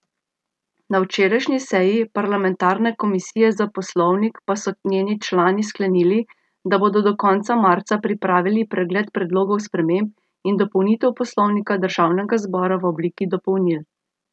Na včerajšnji seji parlamentarne komisije za poslovnik pa so njeni člani sklenili, da bodo do konca marca pripravili pregled predlogov sprememb in dopolnitev poslovnika državnega zbora v obliki dopolnil.